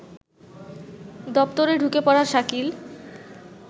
দপ্তরে ঢুকে পড়া শাকিল